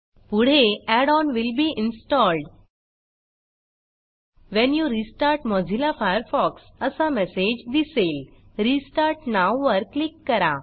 पुढे add on will be installed when you restart Mozilla Firefox असा message दिसेल restart now वर click करा